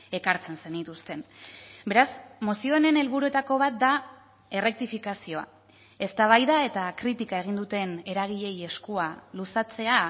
ekartzen zenituzten beraz mozio honen helburuetako bat da errektifikazioa eztabaida eta kritika egin duten eragileei eskua luzatzea